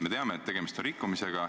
Me teame, et tegemist on rikkumisega.